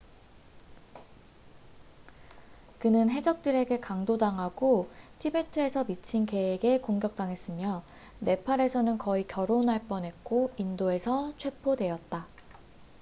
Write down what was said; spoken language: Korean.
그는 해적들에게 강도 당하고 티베트에서 미친개에게 공격당했으며 네팔에서는 거의 결혼할 뻔했고 인도에서 체포되었다